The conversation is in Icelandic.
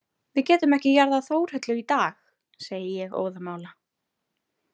Við getum ekki jarðað Þórhöllu í dag, segi ég óðamála.